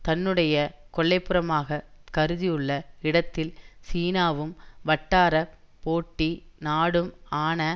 தன்னுடைய கொல்லைப்புறமாகக் கருதியுள்ள இடத்தில் சீனாவும் வட்டார போட்டி நாடும் ஆன